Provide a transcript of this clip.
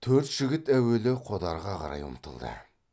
төрт жігіт әуелі қодарға қарай ұмтылды